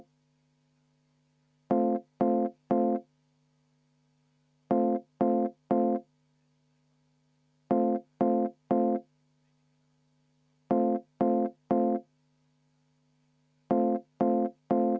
Vaheaeg 10 minutit.